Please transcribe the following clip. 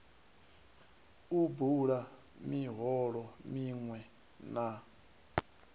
u bula miholo miṅwe na